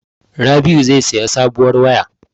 Rabi'u zai saya sabuwar waya.